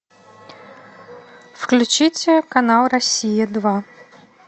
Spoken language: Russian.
включите канал россия два